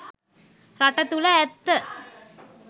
රට තුළ ඇත්ත